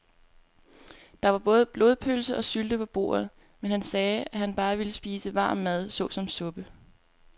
Der var både blodpølse og sylte på bordet, men han sagde, at han bare ville spise varm mad såsom suppe.